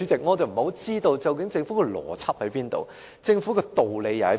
我不太明白政府究竟有何邏輯、有何道理？